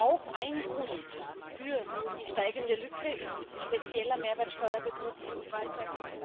Auch ein Grund für die steigende Lücke ist spezieller Mehrwertsteuerbetrug im e Commerce.